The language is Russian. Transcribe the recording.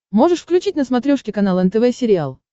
можешь включить на смотрешке канал нтв сериал